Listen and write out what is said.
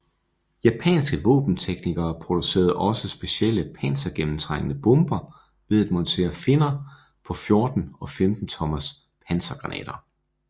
Japanske våbenteknikere producerede også specielle pansergennemtrængende bomber ved at montere finner på 14 og 15 tommers pansergranater